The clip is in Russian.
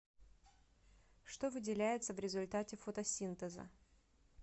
что выделяется в результате фотосинтеза